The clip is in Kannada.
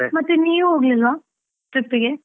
ನೀವ್ ಹೋಗ್ಲಿಲ್ವಾ trip ಗೆ?